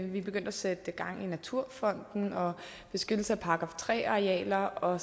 vi begyndte at sætte gang i naturfonden og beskyttelse af § tre arealer og